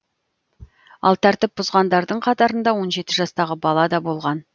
ал тәртіп бұзғандардың қатарында он жеті жастағы бала да болған